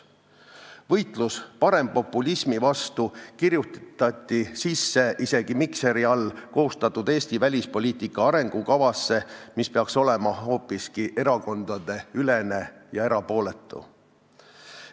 Võitlus parempopulismi vastu kirjutati sisse isegi Mikseri käe all koostatud Eesti välispoliitika arengukavasse, mis peaks olema hoopiski erakondadeülene ja erapooletu.